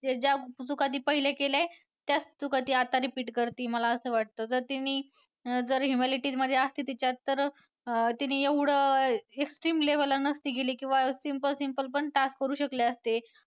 ते ज्या चुका ती पहिला केली आहे त्याच चुका आता ती repeat करती मला असं वाटतं जर तिने अं humility जर असती तिच्यात तर अं तिने एवढं extreme level ला नसती गेली किंवा simple simple पण task करू शकले असते.